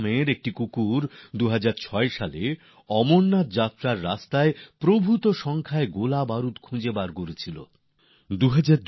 একটি কুকুর বলরাম ২০০৬ সালে অমরনাথ যাত্রার রাস্তায় বিরাট পরিমাণে গোলাবারুদের সন্ধান এনে দেয়